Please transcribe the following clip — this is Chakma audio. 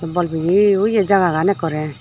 bol peyi oyi jaga gan ekkore.